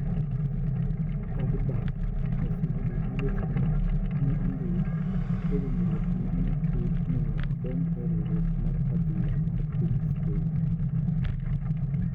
Pogba oseyie gi weche ma ne ondik e winjruok ma ne dhi miyo odonj e riwruok mar adhula mar piny Spain.